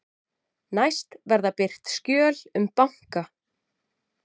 Næst verða birt skjöl um banka